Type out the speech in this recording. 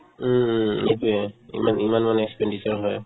উম um সেইটোয়ে ইমান ইমান মানে expenditure হয়